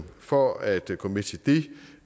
for at gå med til det